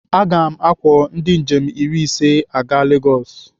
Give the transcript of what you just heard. Aga m akwọ ndị njem iri ise aga Legosi.